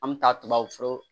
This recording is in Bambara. An bɛ taa tubabufura